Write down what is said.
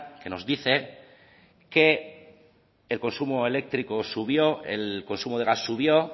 que nos dice que el consumo eléctrico subió el consumo de gas subió